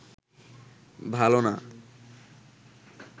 ভালো না